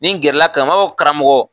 Nin gɛrɛla karamɔgɔ, n b'a fɔ karamɔgɔ